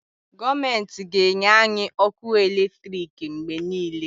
Gọọmentị ga-enye anyị ọkụ eletriki mgbe niile.